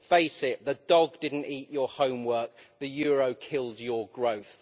Face it the dog did not eat your homework, the euro killed your growth.